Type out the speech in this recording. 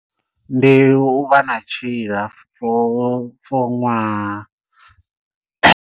Ndi u vha na tshiila foo foo ṅwaha.